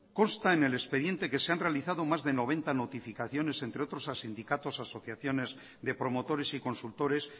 consta en el expediente que se han realizado más de noventa notificaciones entre otros a sindicatos asociaciones de promotores y consultores